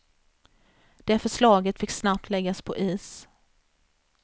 Det förslaget fick snabbt läggas på is.